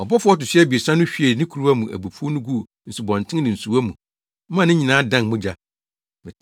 Ɔbɔfo a ɔto so abiɛsa no hwiee ne kuruwa mu abufuw no guu nsubɔnten ne nsuwa mu maa ne nyinaa dan mogya.